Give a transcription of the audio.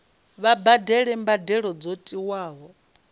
vha badele mbadelo dzo tiwaho